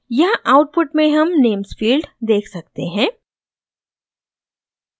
यहाँ आउटपुट में हम नेम्स फील्ड देख सकते हैं